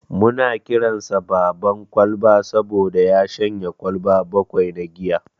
Muna kiransa "Baban Kwalba" saboda ya shanye kwalba bakwai na giya.